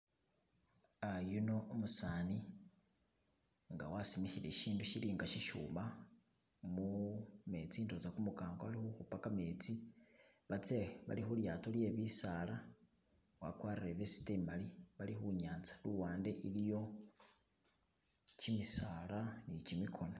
Ah yuno umusani nga wasimikhile isindu sili nga sishuma mumetsi ndowoza kumukango bali khukhupa kametsi batse, bali khu lyato lye bisala wakwarire vest imali bali khunyanza luwande iliyo kimisala ni kimikona.